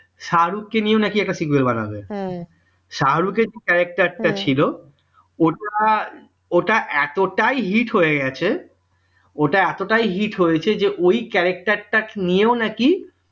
শাহরুখকে নিয়ে নাকি একটা serial বানাবে শাহরুখের যে character টা ছিল ওটা ওটা এতটাই hit হয়ে গেছে এটা এতটাই hit হয়েছে যে ওই character টা নিয়েও নাকি